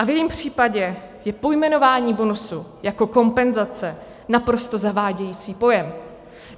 A v jejím případě je pojmenování bonusu jako kompenzace naprosto zavádějící pojem.